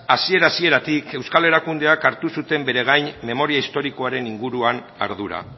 hasiera hasieratik euskal erakundeak hartu zuten bere gain memoria historikoaren ardura